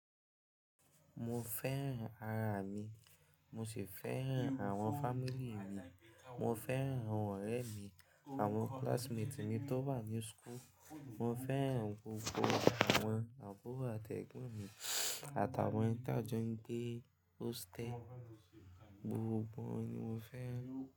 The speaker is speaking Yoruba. Mo fẹ́ràn ara mi, mo sì fẹ́ràn àwọn family mi. Mo fẹ́ràn àwọn ọ̀rẹ́ mi, àwọn classmates mi tó wà ní school. Mo fẹ́ràn gbogbo àwọn àbúrò àtẹgbọn mi àtàwọn ta ń jó gbé hostel. Gbogbo wọn ni mo fẹ́ràn.